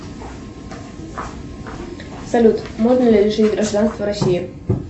салют можно ли лишить гражданства россии